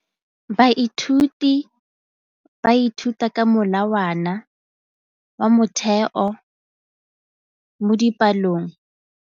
Baithuti ba ithuta ka molawana wa motheo mo dipalong.